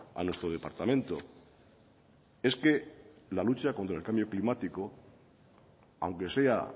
a nuestro departamento es que la lucha contra el cambio climático aunque sea